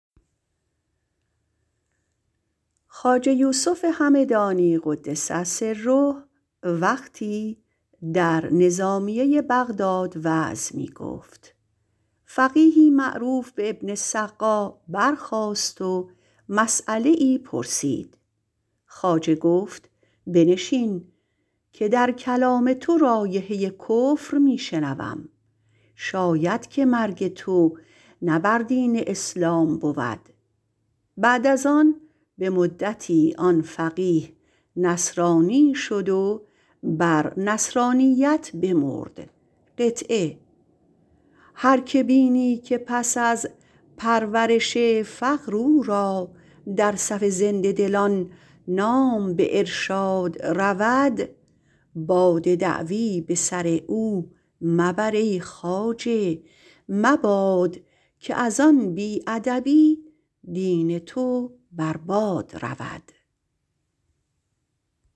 خواجه یوسف همدانی - قدس سره - وقتی در نظامیه بغداد وعظ می گفت فقیهی معروف به ابن السقا برخاست و مسیله پرسید گفت بنشین که در کلام تو رایحه کفر می بینم شاید که مرگ تو نه بر دین اسلام بود بعد از آن به مدتی آن فقیه نصرانی شد و بر نصرانیت بمرد هر که بینی که پس از پرورش فقر او را در صف زنده دلان نام به ارشاد رود باد دعوی به سر او مبر ای خواجه مباد که از این بی ادبی دین تو بر باد رود